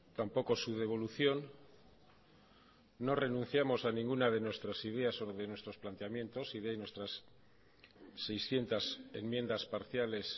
tampoco su devolución no renunciamos a ninguna de nuestras ideas o de nuestros planteamientos y de ahí nuestras seiscientos enmiendas parciales